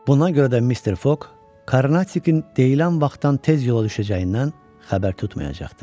Buna görə də Mister Foq Karnatikin deyilən vaxtdan tez yola düşəcəyindən xəbər tutmayacaqdı.